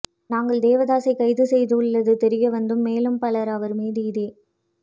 நாங்கள் தேவதாசை கைது செய்துள்ளது தெரியவந்ததும் மேலும் பலர் அவர் மீது இதே